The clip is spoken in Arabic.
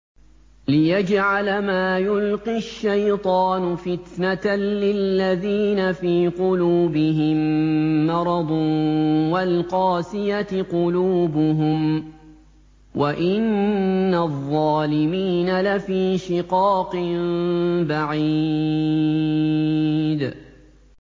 لِّيَجْعَلَ مَا يُلْقِي الشَّيْطَانُ فِتْنَةً لِّلَّذِينَ فِي قُلُوبِهِم مَّرَضٌ وَالْقَاسِيَةِ قُلُوبُهُمْ ۗ وَإِنَّ الظَّالِمِينَ لَفِي شِقَاقٍ بَعِيدٍ